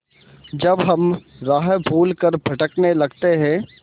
जब हम राह भूल कर भटकने लगते हैं